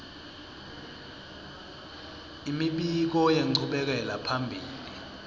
imibiko yenchubekela phambili